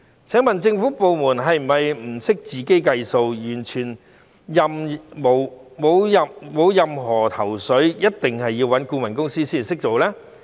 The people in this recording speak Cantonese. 請問政府部門是否不懂得自己計算，完全沒有任何頭緒，一定要找顧問公司才會處理事情呢？